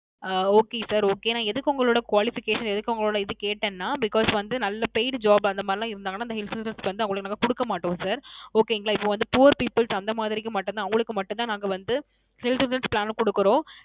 அஹ் Okay Sir Okay நான் எதுக்கு உங்களோட Qualification எதுக்கு உங்களோட இது கேட்டேன் ன Because வந்து நல்ல Paid Job அந்த மாதிரி எல்லாம் இருந்தாங்கன நாங்க Insurance வந்து அவங்களுக்கு வந்து நாங்க குடுக்க மாட்டோம் Sir Okay ங்கலா இப்போ வந்து Poor People அந்த மாதிரிக்கு மட்டும் தான் அவங்களுக்கு மட்டும் தான் நாங்க வந்து Insurance Plan கொடுக்குறோம்